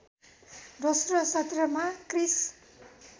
दोस्रो सत्रमा क्रिस्